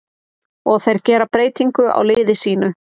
Og þeir gera breytingu á liði sínu.